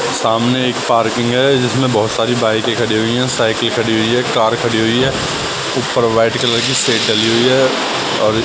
सामने एक पार्किंग है जिसमें बहुत सारी बाईकें खड़ी हुई हैं साइकिल खड़ी हुई है कार खड़ी हुई है ऊपर व्हाईट कलर की शेड डली हुई है और--